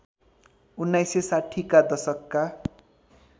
१९६० का दशकका